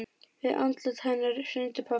Við andlát hennar hrundi pabbi.